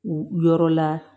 U yɔrɔ la